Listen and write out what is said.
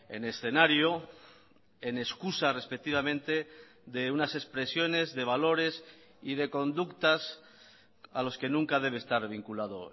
en escenario en excusa respectivamente de unas expresiones de valores y de conductas a los que nunca debe estar vinculado